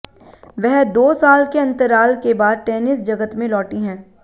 वह दो साल के अंतराल के बाद टेनिस जगत में लौटी हैं